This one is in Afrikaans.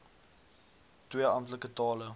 twee amptelike tale